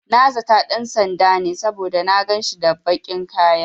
Na zata ɗan sanda ne, saboda na ganshi da baƙin kaya.